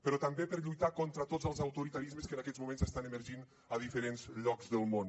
però també per lluitar contra tots els autoritarismes que en aquests moments estan emergint a diferents llocs del món